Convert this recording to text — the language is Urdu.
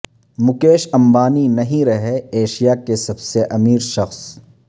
مکیش امبانی نہیں رہے ایشیا کے سب سے امیر شخص